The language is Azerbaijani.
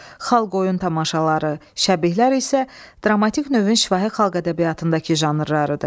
Xalq oyun tamaşaları, şəbihlər isə dramatik növün şifahi xalq ədəbiyyatındakı janrlarıdır.